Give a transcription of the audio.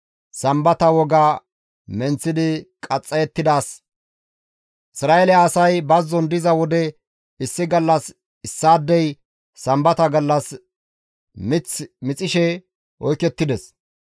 Isra7eele asay bazzon diza wode issi gallas issaadey sambata gallas mith mixishe oykettides.